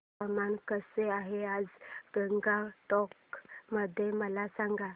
हवामान कसे आहे आज गंगटोक मध्ये मला सांगा